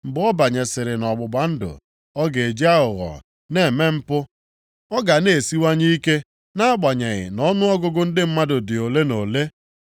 Mgbe ọ banyesịrị nʼọgbụgba ndụ, ọ ga-eji aghụghọ na-eme mpu, ọ ga na-esiwanye ike nʼagbanyeghị nʼọnụọgụgụ ndị mmadụ dị ole na ole.